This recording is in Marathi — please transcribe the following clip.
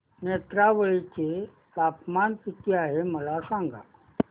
नेत्रावळी चे तापमान किती आहे मला सांगा